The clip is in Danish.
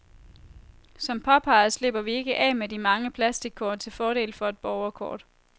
Som påpeget slipper vi ikke af med de mange plastickort til fordel for et borgerkort.